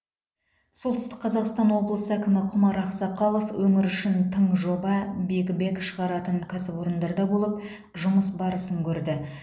солтүсті қазақстан облысы әкімі құмар ақсақалов өңір үшін тың жоба биг бэг шығаратын кәсіпорында болып жұмыс барысын көрді